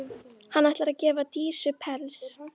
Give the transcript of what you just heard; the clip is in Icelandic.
Hann ætlar að gefa Dísu pels.